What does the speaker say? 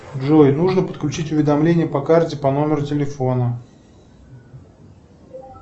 джой нужно подключить уведомление по карте по номеру телефона